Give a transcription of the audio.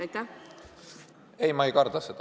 Kalle Grünthal, palun!